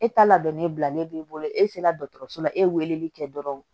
E ta la dɔnni bilalen b'i bolo e sera dɔgɔtɔrɔso la e ye weleli kɛ dɔrɔn